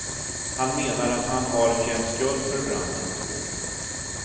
Han menar att han har känt skuld för branden.